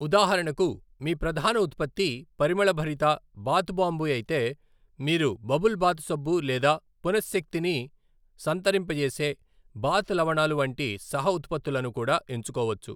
ఉదాహరణకు, మీ ప్రధాన ఉత్పత్తి పరిమళభరిత బాత్ బాంబు అయితే, మీరు బబుల్ బాత్ సబ్బు లేదా పునశ్శక్తిని సంతరింపజేసే బాత్ లవణాలు వంటి సహ ఉత్పత్తులను కూడా ఎంచుకోవచ్చు.